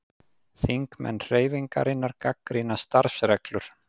Þingmenn Hreyfingarinnar gagnrýna starfsreglur